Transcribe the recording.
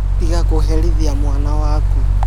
Tiga kũherithĩa mwana wakũ.